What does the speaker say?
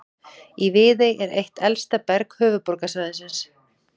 Í Viðey er eitt elsta berg höfuðborgarsvæðisins.